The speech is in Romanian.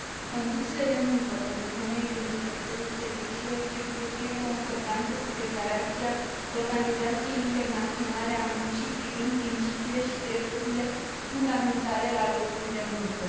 Condițiile de muncă pentru femeile din sectorul serviciilor trebuie să fie în concordanță cu Declarația Organizației Internaționale a Muncii privind principiile și drepturile fundamentale la locul de muncă.